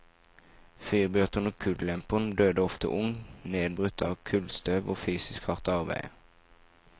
Fyrbøteren og kullemperen døde ofte ung, nedbrutt av kullstøv og fysisk hardt arbeide.